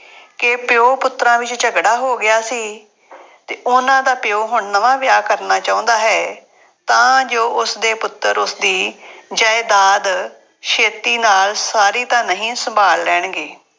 ਕਿ ਪਿਉ ਪੁੱਤਰਾਂ ਵਿੱਚ ਝਗੜਾ ਹੋ ਗਿਆ ਸੀ ਅਤੇ ਉਹਨਾ ਦਾ ਪਿਉ ਹੁਣ ਨਵਾਂ ਵਿਆਹ ਕਰਨਾ ਚਾਹੁੰਦਾ ਹੈ, ਤਾਂ ਜੋ ਉਸਦੇ ਪੁੱਤਰ ਉਸਦੀ ਜਾਇਦਾਦ ਛੇਤੀ ਨਾਲ ਸਾਰੀ ਤਾਂ ਨਹੀਂ ਸੰਭਾਲ ਲੈਣਗੇ।